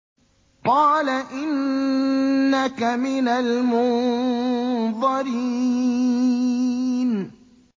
قَالَ إِنَّكَ مِنَ الْمُنظَرِينَ